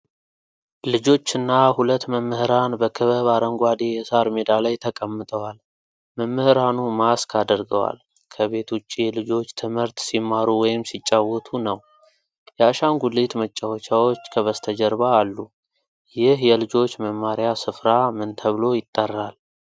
ልጆችና ሁለት መምህራን በክበብ አረንጓዴ የሳር ሜዳ ላይ ተቀምጠዋል። መምህራኑ ማስክ አድርገዋል። ከቤት ውጪ ልጆች ትምህርት ሲማሩ ወይም ሲጫወቱ ነው። የአሻንጉሊት መጫዎቻዎች ከበስተጀርባ አሉ። ይህ የልጆች መማሪያ ስፍራ ምን ተብሎ ይጠራል?